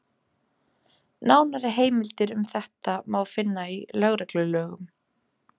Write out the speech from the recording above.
Nánari heimildir um þetta má finna í lögreglulögum.